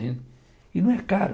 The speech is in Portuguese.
E não é caro.